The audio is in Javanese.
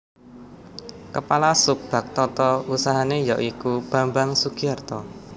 Kepala Sub Bag Tata Usahane ya iku Bambang Sugiarto